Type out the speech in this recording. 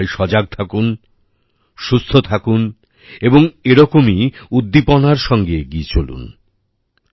আপনারা সবাই সজাগ থাকুন সুস্থ থাকুন এবং এরকমই উদ্দীপনার সঙ্গে এগিয়ে চলুন